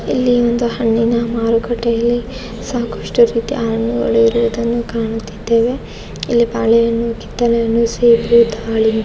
ಇಲ್ಲಿ ಒಂದೂ ಹಣ್ಣಿನ ಮಾರುಕಟ್ಟೆಯಲ್ಲಿ ಸಾಕಷ್ಟು ರೀತಿಯ ಹಣ್ಣುಗಳು ಇರುವುದನ್ನು ಕಾಣುತ್ತಿದ್ದೇವೆ ಇಲ್ಲಿ ಬಾಳೆ ಹಣ್ಣು ಕಿತ್ತಲೆ ಹಣ್ಣು ಸೇಬು ದಾಳಿಂಬೆ --